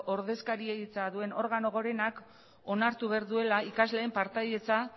ordezkaritza duen organo gorenak onartu behar duela ikasleen partaidetza